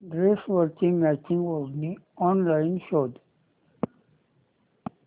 ड्रेसवरची मॅचिंग ओढणी ऑनलाइन शोध